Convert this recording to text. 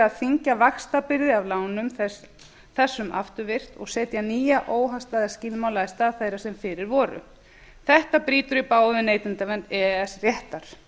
þyngja vaxtabyrði af lánum þessum afturvirkt og setja nýja óhagstæða skilmála í stað þeirra sem fyrir voru þetta brýtur í bága við neytendavernd e e s réttar